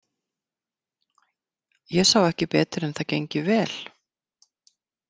Ég sá ekki betur en það gengi vel.